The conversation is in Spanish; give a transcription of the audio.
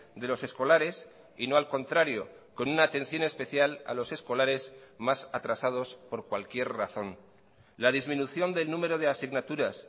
de los escolares y no al contrario con una atención especial a los escolares más atrasados por cualquier razón la disminución del número de asignaturas